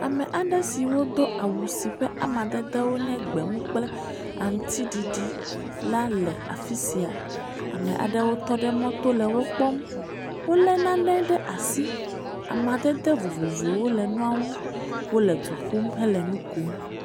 Ame aɖe siwo do awu si ƒe amadede nye gbemu kple aŋutiɖiɖi la le afi sia. Ame aɖewo tɔ ɖe mɔto le wo kpɔm, wolé nane ɖe asi, amadede vovovowo le nua ŋu. Wole du ƒum, hele nu kom.